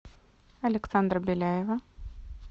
александра беляева